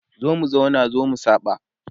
zo mu zauna zo mu saba